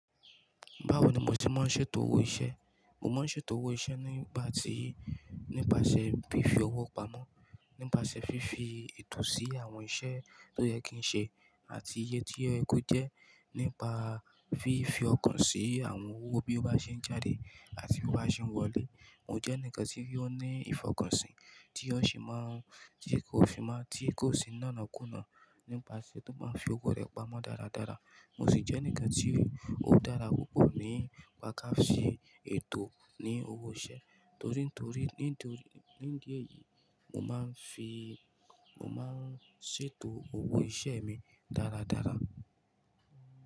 Báwo ni mo ti máa ń ṣe ètò owó iṣẹ́? Mo máa ń ṣe ètò owó iṣẹ́ nígbà tí, nípasẹ̀ fífi owó pamọ́, nípasẹ̀ fífi ètò sí àwọn iṣẹ́ tó yẹ kí n ṣe àti iye tí oyẹ kó jẹ́, nípa fífi ọkàn sí àwọn owó bí ó bá ṣe ń jáde àti bí ó bá ṣe ń wọlé. Mo jẹ́ ẹnìkan tí ó ní ìfọkànsìn tí ó sì máa ń, tí kò sì máa, tí kò sì náàná kúnná nípasẹ̀ tó máa ń fi owó rẹ̀ pamọ́ dáradára. Mo sì jẹ́ ẹnìkan tí ó dára púpọ̀ nípa káàṣe ètò ní owó iṣẹ́. Torí tó rí, nítorí nídìí mo máa ń fi, mo máa ń ṣètò owó iṣẹ́ mi dáradára.